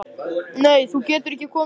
Nei, þú getur ekki komið með.